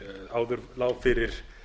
áður lá fyrir